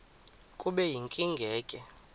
kube yinkinge ke